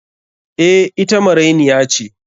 Eh, ita marainiya ce.